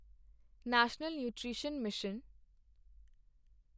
national nutrition mission